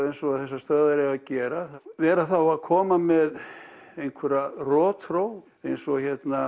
eins og þessar stöðvar eiga að gera vera þá að koma með einhverja rotþró eins og